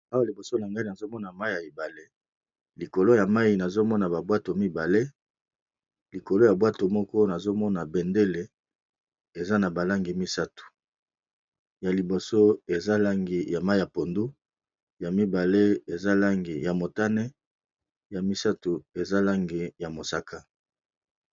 Awa liboso na ngai nazali komona mayi ya ebalé, likolo ya ebale yango nazomona ba bwato mibale